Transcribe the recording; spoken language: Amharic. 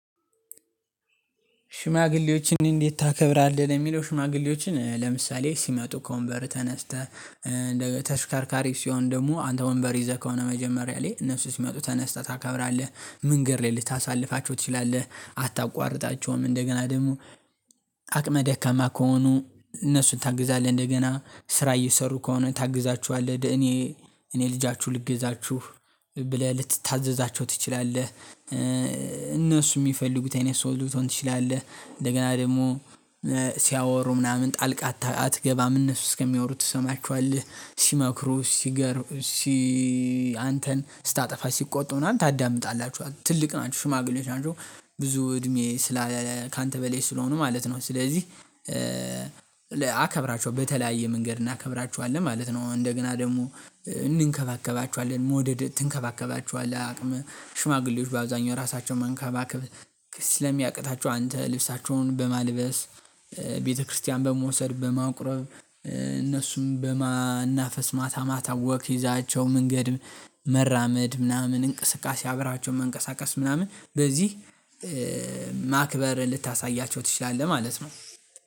ሽማግሌዎችን እንዴት ታከብራለህ? ለሚለው ሽማግሌዎችን ለምሳሌ ሲመጡ ከወንበር ተነስተህ፤ እንደገና ተሽከርካሪ ሲሆን ደግሞ አንተ ወንበር ይዘህ ከሆነ መጀመሪያ ላይ እነሱ ሲመጡ ተነስተህ ታከብራለህ ምንገድ ልታሳልፋቸው ትችላለህ አታቋርጣቸውም፤ እንደገና ደግሞ አቅመ ደካማ ከሆኑ እነሱን ታግዛለህ እንደገና ስራ እየሰሩ ከሆነ ታግዛችኋለህ። ደኔ እኔ ልጃችሁ ልገዛችሁ ብለህ ልትታዘዛቸው ትችላለህ፤ እነሱ የሚፈልጉት አይነት ሰው ልትሆን ትችላለህ፤ እንደገና ደግሞ ሲያወሩ ምናምን ጣልቃ አትገባም እነሱ እስከሚያወሩት ትሰማችኋለህ። ሲመክሩ ሲገርም ሲ አንተን ስታጠፋ ሲቆጡ ምናምን ታዳምጣላችሁ፤ ትልቅ ናቸው ሽማግሌዎች ናቸው። ብዙ እድሜ ስላ ካንተ በሌይ ስለሆኑ ማለት ነው። ስለዚህ አከብራቸው በተለያየ መንገድ እናከብራቸዋለን ማለት ነው። እንደገና ደግሞ እንንከባከባቸዋለን መውደድ ትንከባከባቸዋህ። አቅም ሽማግሌዎች በአብዛኛው ራሳቸውን መንከባከብ ስለሚያቅታቸው አንተ ልብሳቸውን በማልበስ፤ ቤተክርስቲያን በመውሰድ በማቁረብ እነሱም በማናፈስ፤ ማታ ማታ ወክ ይዛቸው መንገድ መራመድ ምናምን እንቅስቃሴ አብራቸው መንቀሳቀስ ምናምን በዚህ ማክበር ልታሳያቸው ትችላለህ ማለት ነው።